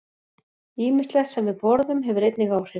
Ýmislegt sem við borðum hefur einnig áhrif.